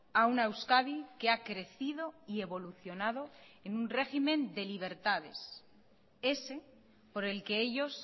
a una euskadi que ha crecido y evolucionado en un régimen de libertades ese por el que ellos